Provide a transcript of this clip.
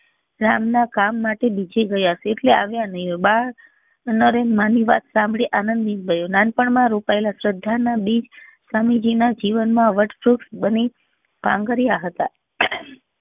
રામ ના કામ માટે બીજે ગયા હશે એટલે આવ્યા નહી હોય બાળ નરેન માં ની વાત આનંદ નીંગ ગયો નાનપણ માં રોપાયેલા શ્રધા નાં બીજ સ્વામી જી ના જીવનન માં વત ધ્રુપ બની પાંગર્યા હતા